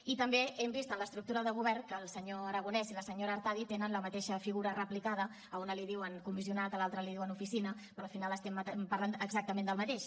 i també hem vist en l’estructura de govern que el senyor aragonès i la senyora artadi tenen la mateixa figura replicada a una li diuen comissionat i a l’altra li diuen oficina però al final estem parlant exactament del mateix